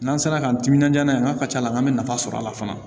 N'an sera k'an timinanja n'a ye n ka ci la an bɛ nafa sɔrɔ a la fana